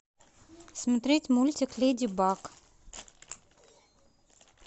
смотреть мультик леди баг